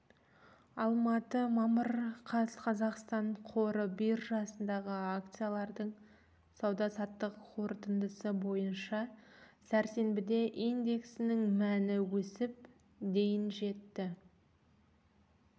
алматы мамыр қаз қазақстан қор биржасындағы акциялардың сауда-саттық қорытындысы бойынша сәрсенбіде индексінің мәні өсіп дейін жетті